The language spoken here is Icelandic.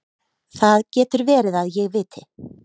Það getur verið að ég viti.